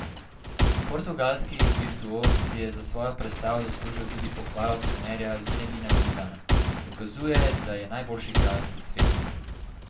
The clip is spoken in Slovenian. Portugalski virtuoz si je za svojo predstavo zaslužil tudi pohvalo trenerja Zinedina Zidana: 'Dokazuje, da je najboljši igralec na svetu.